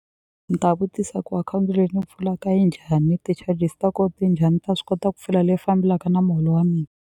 Ni ta vutisa ku akhawunti leyi ni pfulaka njhani ti-charges ta ko ti njhani ni ta swi kota ku pfula leyi fambelaka na muholo wa .